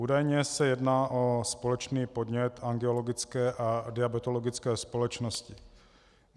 Údajně se jedná o společný podnět Angiologické a diabetologické společnosti.